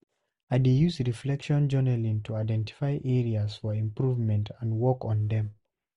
I dey use reflection and journaling to identify areas for improvement and work on dem.